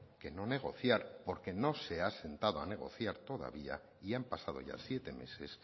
que no negociar porque no se ha sentado a negociar todavía y han pasado ya siete meses